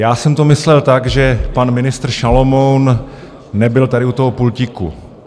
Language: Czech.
Já jsem to myslel tak, že pan ministr Šalomoun nebyl tady u toho pultíku.